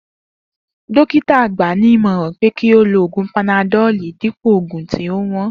Dokita gba ní ìmọ̀ràn pé kí ó lo oògùn panadoli dípò oògùn tí ó wón